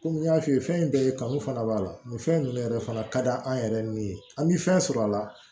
Kɔmi n y'a f'i ye fɛn bɛɛ ye kanu fana b'a la nin fɛn ninnu yɛrɛ fana ka d'an yɛrɛ ni ye an bɛ fɛn sɔrɔ a la